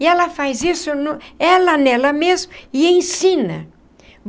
E ela faz isso no ela nela mesma e ensina.